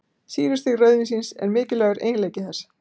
Sýrustig rauðvínsins er mikilvægur eiginleiki þess.